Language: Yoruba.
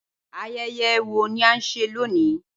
Ayẹyẹ wo ni a nṣe loni?